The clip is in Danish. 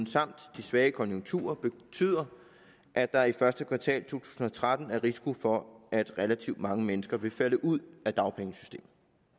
samt de svage konjunkturer betyder at der i første kvartal to tusind og tretten er risiko for at relativt mange mennesker vil falde ud af dagpengesystemet